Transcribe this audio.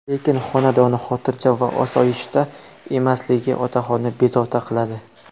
Lekin xonadoni xotirjam va osoyishta emasligi otaxonni bezovta qiladi.